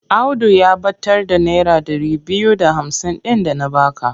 Audu ya ɓatar da naira ɗari biyu da hamsin ɗin da na ba ka.